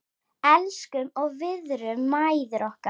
Elskum og virðum mæður okkar.